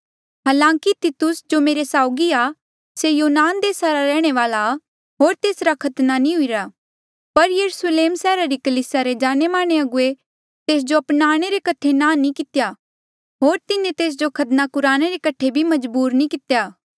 हालांकि तितुस जो मेरे साउगी आ से यूनान देसा रा रैहणे वाल्आ होर तेसरा खतना नी हुईरा पर यरुस्लेम सैहरा री कलीसिया रे जाणेमाने अगुवे तेस जो अपनाणे रे कठे अपनाणे ले नांह नी कितेया होर तिन्हें तेस जो खतना कुराणे रे कठे भी मजबूर नी कितेया